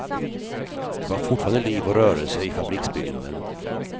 Det var fortfarande liv och rörelse i fabriksbyggnaden.